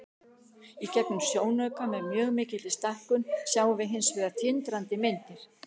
Í gegnum sjónauka, með mjög mikilli stækkun, sjáum við hins vegar tindrandi myndir.